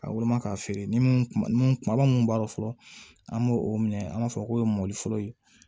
Ka woloma k'a feere ni mun kuma mun kumaba mun b'a dɔn fɔlɔ an b'o o minɛ an b'a fɔ k'o ye mɔliforo ye